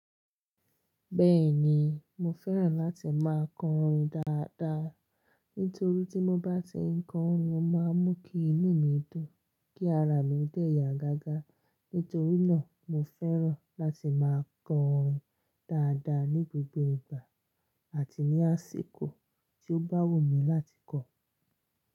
Bẹ́ẹ̀ni, mo fẹ́ràn láti máa kọ orin dáadáa. Nítorí tí mo bá ti ń kọ orin, ó máa ń mú kí inú mi dùn, kí ara mi dẹ̀ yà gágá. Nítorí náà, mo fẹ́ràn láti máa kọ orin dáadáa ní gbogbo ìgbà àti ní àsìkò tí ó bá wù mí láti kọ ọ́.